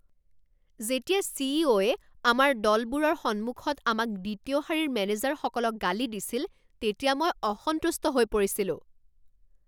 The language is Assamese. যেতিয়া চিইও য়ে আমাৰ দলবোৰৰ সন্মুখত আমাক দ্বিতীয় শাৰীৰ মেনেজাৰসকলক গালি দিছিল তেতিয়া মই অসন্তুষ্ট হৈ পৰিছিলোঁ।